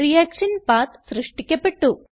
reaction പത്ത് സൃഷ്ടിക്കപ്പെട്ടു